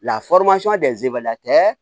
La tɛ